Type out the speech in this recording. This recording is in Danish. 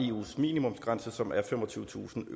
eus minimumsgrænse som er femogtyvetusind